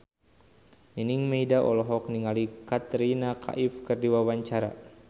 Nining Meida olohok ningali Katrina Kaif keur diwawancara